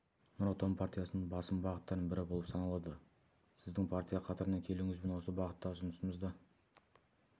нұр отан партиясының басым бағыттарының бірі болып саналады сіздің партия қатарына келуіңізбен осы бағыттағы жұмысымызды